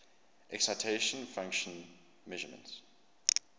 excitation function measurements